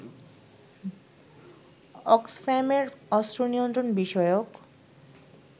অক্সফ্যামের অস্ত্র নিয়ন্ত্রণ বিষয়ক